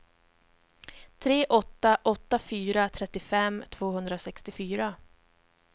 tre åtta åtta fyra trettiofem tvåhundrasextiofyra